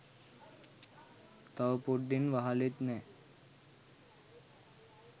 තව පොඩ්ඩෙන් වහලෙත් නෑ